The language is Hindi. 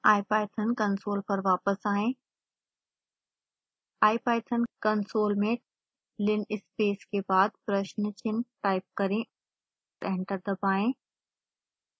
ipython कंसोल पर वापस आएं ipython कंसोल में linspace के बाद प्रश्न चिन्ह टाइप करें एंटर दबाएं